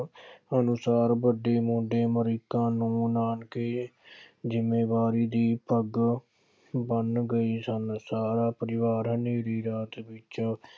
ਅਨੁਸਾਰ ਵੱਡੇ ਵਾਲੀ ਨੂੰ ਨਾਪ ਕੇ ਇਹ ਜ਼ਿੰਮੇਵਾਰੀ ਦੀ ਪੱਗ ਬੰਨ੍ਹ ਗਏ ਸਨ। ਸਾਰਾ ਪਰਿਵਾਰਾਂ ਨੇ ਵਿਰਾਂਤ ਵਿੱਚ